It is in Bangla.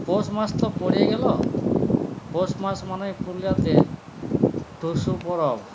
পৌষমাস তো পড়ে গেল পৌষমাস মানে পুরুলিয়াতে টুসু পরব